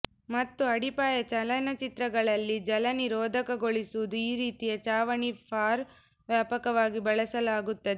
ಮತ್ತು ಅಡಿಪಾಯ ಚಲನಚಿತ್ರಗಳಲ್ಲಿ ಜಲನಿರೋಧಕಗೊಳಿಸುವುದು ಈ ರೀತಿಯ ಚಾವಣಿ ಫಾರ್ ವ್ಯಾಪಕವಾಗಿ ಬಳಸಲಾಗುತ್ತದೆ